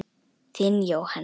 Þinn Jóhann.